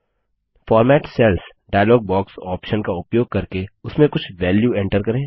format cells dialog box option का उपयोग करके उसमें कुछ वेल्यू एन्टर करें